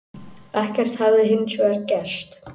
Ekkert hefði hins vegar gerst